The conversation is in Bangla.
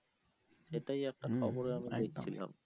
এটাই একটা খবরে আমি দেখছিলাম।